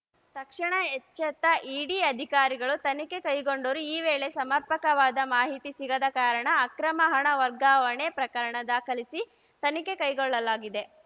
ತಕ್ಷಣ ಎಚ್ಚೆತ್ತ ಇಡಿ ಅಧಿಕಾರಿಗಳು ತನಿಖೆ ಕೈಗೊಂಡರು ಈ ವೇಳೆ ಸಮರ್ಪಕವಾದ ಮಾಹಿತಿ ಸಿಗದ ಕಾರಣ ಅಕ್ರಮ ಹಣ ವರ್ಗಾವಣೆ ಪ್ರಕರಣ ದಾಖಲಿಸಿ ತನಿಖೆ ಕೈಗೊಳ್ಳಲಾಗಿದೆ